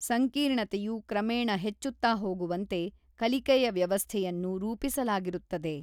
ಸಂಕೀರ್ಣತೆಯು ಕ್ರಮೇಣ ಹೆಚ್ಚುತ್ತಾ ಹೋಗುವಂತೆ ಕಲಿಕೆಯ ವ್ಯವಸ್ಥೆಯನ್ನು ರೂಪಿಸಲಾಗಿರುತ್ತದೆ.